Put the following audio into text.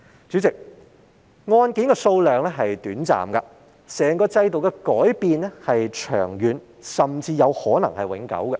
主席，案件的數量多寡是短暫的，整個制度的改變卻是長遠，甚至可能是永久的。